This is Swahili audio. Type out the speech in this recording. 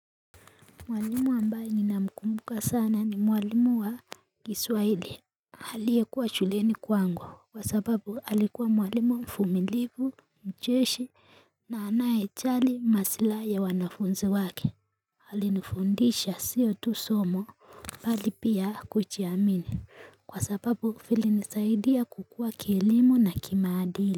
Mwalimu ambaye nina mkumbuka sana ni mwalimu wa kiswahili alie kuwa chuleni kwangu kwa sababu alikuwa mwalimu mvumilivu mcheshi na anaye jali maslai ya wanafunzi wake Alifundisha siyo tu somo bali pia kujiamini kwa sababu fili nisaidia kukua kielimu na kimaadili.